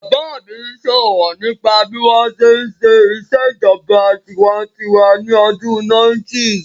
Bàbá mi sọ̀rọ̀ nípa bí wọ́n ṣe n ṣe ìṣèjọba tinwatinwa ní ọdún 90's